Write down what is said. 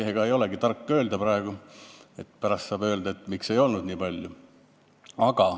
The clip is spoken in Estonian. Ega ei olegi tark praegu seda öelda, sest pärast saaks küsida, miks ei ole nii palju tehtud.